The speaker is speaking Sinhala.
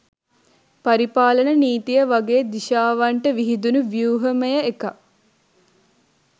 පරිපාලන නීතිය වගේ දිශාවන්ට විහිදුනු ව්‍යූහමය එකක්.